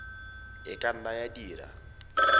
e ka nna ya dira